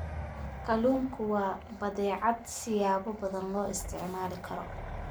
Kalluunku waa badeecad siyaabo badan loo isticmaali karo.